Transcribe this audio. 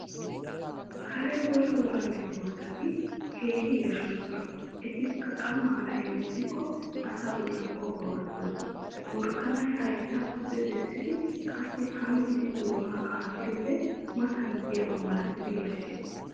Kare wora wora medoossati keehin yashshoosona etikka qammara hemettikkoo asaa bolli qohuwa gattoosona. Worakanay haytta pude bessidi qassi hanggi doonaa qaatiyoode matan diyaba malatidi yashshes.